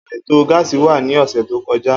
Aito gáásì wa ni ọsẹ to kọja.